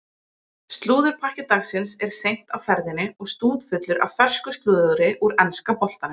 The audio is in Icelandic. Slúðurpakki dagsins er seint á ferðinni og stútfullur af fersku slúðri úr enska boltanum.